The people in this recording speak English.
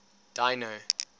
dino